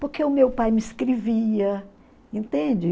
Porque o meu pai me escrevia, entende?